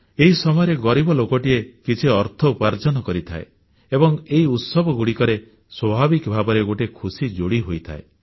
ଏହି ସମୟରେ ଗରିବ ଲୋକଟିଏ କିଛି ଅର୍ଥ ଉପାର୍ଜନ କରିଥାଏ ଏବଂ ଏହି ଉତ୍ସବଗୁଡ଼ିକରେ ସ୍ୱାଭାବିକ ଭାବରେ ଗୋଟିଏ ଖୁସି ଯୋଡ଼ି ହୋଇଯାଏ